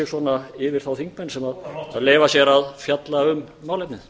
svona yfir þá þingmenn sem leyfa sér að fjalla um málefnið